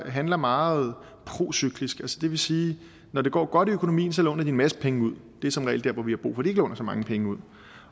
handler meget procyklisk det vil sige at når det går godt i økonomien låner de en masse penge ud det er som regel der hvor vi har brug for de låner så mange penge ud